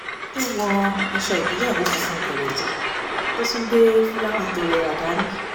tó wọ aṣọ ìgbéyàwó funfun gẹ̀rẹ̀jẹ̀ tó tún gbé fúláwá tó rẹwà dání